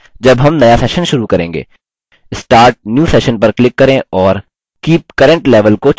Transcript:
start new session पर click करें और keep current level को चुनें